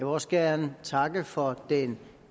også gerne takke for den